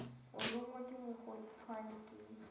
o lonngwe ke mokgodutswane ke